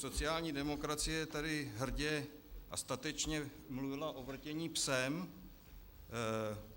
Sociální demokracie tady hrdě a statečně mluvila o vrtění psem.